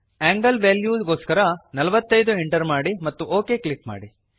angle ವೆಲ್ಯೂಗೋಸ್ಕರ 45 enter ಮಾಡಿ ಮತ್ತು ಒಕ್ ಕ್ಲಿಕ್ ಮಾಡಿ